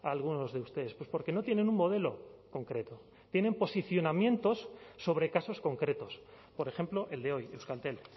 a algunos de ustedes pues porque no tienen un modelo concreto tienen posicionamientos sobre casos concretos por ejemplo el de hoy euskaltel